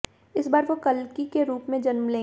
इस बार वो कल्कि के रूप में जन्म लेंगे